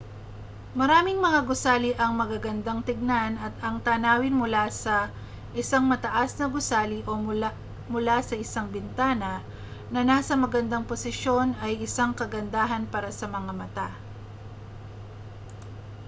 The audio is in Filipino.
maraming mga gusali ang magagandang tingnan at ang tanawin mula sa isang mataas na gusali o mula sa isang bintana na nasa magandang posisyon ay isang kagandahan para sa mga mata